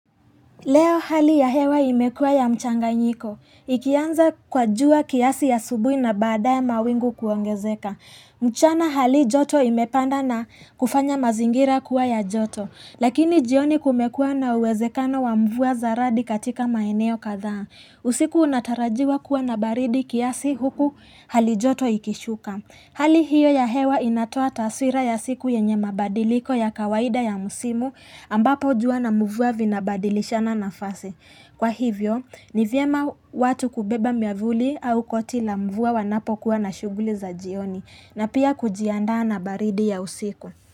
Leo hali ya hewa imekua ya mchanganyiko. Ikianza kwa jua kiasi asubui na badae mawingu kuongezeka. Mchana hali joto imepanda na kufanya mazingira kuwa ya joto. Lakini jioni kumekua na uwezekano wa mvua za radi katika maeneo kadhaa. Usiku unatarajiwa kuwa na baridi kiasi huku hali joto ikishuka. Hali hiyo ya hewa inatoa taswira ya siku yenye mabadiliko ya kawaida ya musimu ambapo jua na mvua vinabadilisha na nafase. Kwa hivyo, ni vyema watu kubeba miavuli au koti la mvua wanapokuwa na shughuli za jioni na pia kujiandaa na baridi ya usiku.